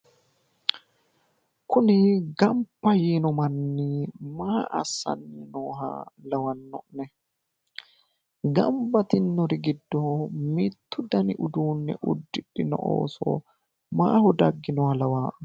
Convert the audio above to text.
kuni gamba yiino manni maa assanni nooho lawanno'ne? gamba yitinori giddo mittu dani uduunne uddidhino ooso mayiira dagginoha lawaa'ne?